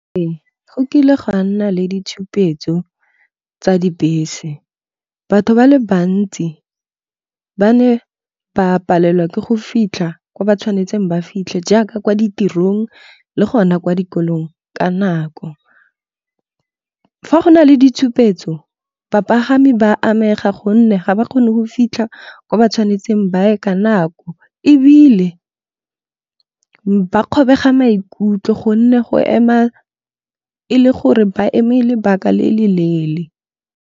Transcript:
Ee, go kile gwa nna le ditshupetso tsa dibese. Batho ba le bantsi ba ne ba palelwa ke go fitlha kwa ba tshwanetseng ba fitlhe jaaka kwa ditirong le gona kwa dikolong ka nako. Fa go na le ditshupetso bapagami ba amega gonne ga ba kgone go fitlha ko ba tshwanetseng ba ye ka nako. Ebile ba kgobega maikutlo gonne go ema e le gore ba eme lebaka le le leele.